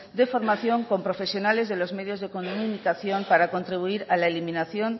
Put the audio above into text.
de formación con profesionales de los medios de comunicación para contribuir a la eliminación